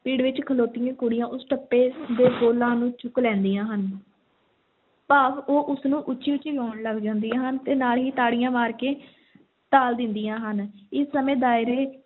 ਪਿੜ ਵਿੱਚ ਖਲੋਤੀਆਂ ਕੁੜੀਆਂ ਉਸ ਟੱਪੇ ਦੇ ਬੋਲਾਂ ਨੂੰ ਚੁੱਕ ਲੈਂਦੀਆਂ ਹਨ ਭਾਵ ਉਹ ਉਸ ਨੂੰ ਉੱਚੀ-ਉੱਚੀ ਗਾਉਣ ਲੱਗ ਜਾਂਦੀਆਂ ਹਨ ਤੇ ਨਾਲ ਹੀ ਤਾੜੀਆਂ ਮਾਰ ਕੇ ਤਾਲ ਦਿੰਦੀਆਂ ਹਨ, ਇਸੇ ਸਮੇਂ ਦਾਇਰੇ